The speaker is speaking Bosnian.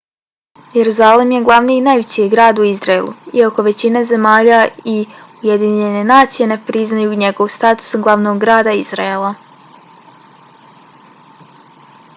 jeruzalem je glavni i najveći grad u izraelu iako većina zemalja i ujedinjene nacije ne priznaju njegov status glavnog grada izraela